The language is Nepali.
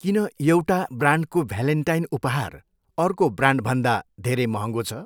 किन एउटा ब्रान्डको भ्यालेन्टाइन उपहार अर्को ब्रान्डभन्दा धेरै महँगो छ?